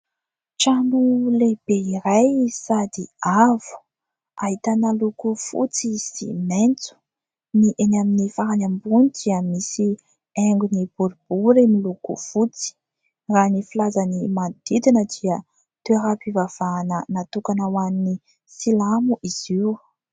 Trano lehibe iray sady avo, ahitana loko fotsy sy maitso, ny eny amin'ny farany ambony dia misy haingony boribory miloko fotsy ; raha ny filazany manodidina dia toeram-pivavahana natokana ho an'ny silamo izy io.